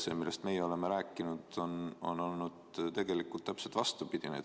See, millest me oleme rääkinud, on olnud tegelikult täpselt vastupidine.